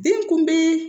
Den kunbe